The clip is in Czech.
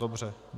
Dobře.